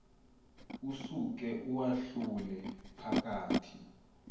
usuke uwahlule phakathi